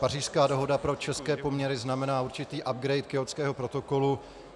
Pařížská dohoda pro české poměry znamená určitý upgrade Kjótského protokolu.